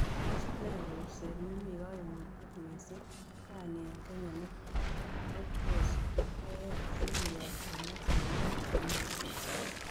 Tos' nee kusereet ne po koimutiet miising' raini eng' kenya ne netos keyai sigiyonchinok eng' tuguk chemiten